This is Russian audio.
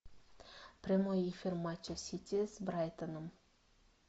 прямой эфир матча сити с брайтоном